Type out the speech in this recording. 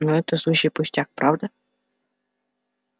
но это сущий пустяк правда